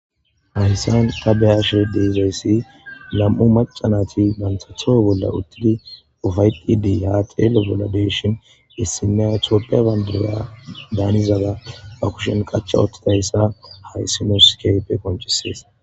Hayssan ta be ashe deezayssi lam'u macanati mantato bolla uttidi ufayqqidii ha teele bolla deeshin issina toppe bandiya daanizada ba kushen qacha ottidayssa haysinoskeype koncisees.